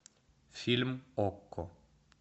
фильм окко